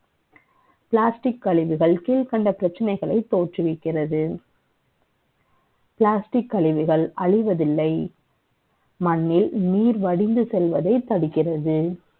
Plastic க் கழிவுகள் கீழ்கண்ட பிரச்சனைகளை தோற்றுவிக்கிறது Plastic க் கழிவுகள் அழிவதில்லை மண்ணில் நீர் வடிந்து செல்வதை தடுக்கிறது